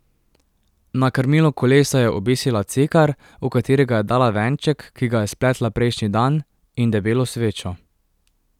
Na krmilo kolesa je obesila cekar, v katerega je dala venček, ki ga je spletla prejšnji dan, in debelo svečo.